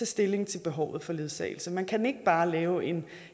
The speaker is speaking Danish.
stilling til behovet for ledsagelse man kan ikke bare lave en